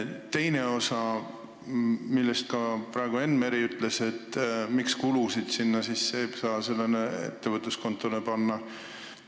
Teiseks küsisime – seda ütles praegu ka Enn Meri –, miks sellele ettevõtluskontole kulusid panna ei saa.